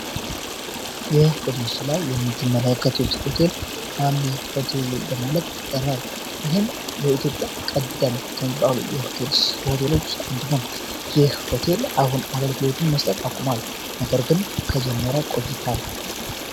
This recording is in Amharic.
የህይ በመስሉ ላይ የምትመለከቱት ሆቴል ሃም ሆቴልይል በማለክ ይጠራል። ይህም በኢትዮጵያ ቀደም ከሚባሉ ሆቴሎች ውስጥ አንዱ ነው ይህ ሆቴል አሁን አገልግሎዎትን መስጠት አቁሟል ነገር ግን ከጀመረ ቆይታል።